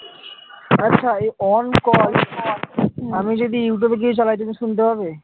আচ্ছা এই on call আমি যদি youtube গিয়ে চলাই, তুমি শুনতে পাবে?